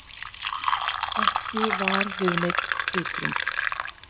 Ekki var við neinn titring